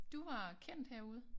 Du var kendt herude